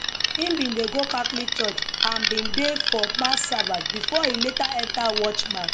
e bin dey go catholic church and bin dey for mass servers bifor e later enta watchman